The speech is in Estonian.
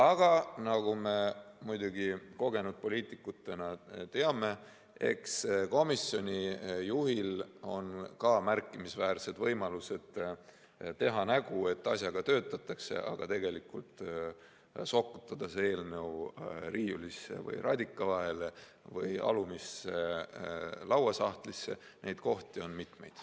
Aga nagu me kogenud poliitikutena muidugi teame, eks komisjoni juhil on ka märkimisväärsed võimalused teha nägu, et asjaga töötatakse, aga tegelikult sokutada eelnõu riiulisse, radika vahele või alumisse lauasahtlisse, neid kohti on mitu.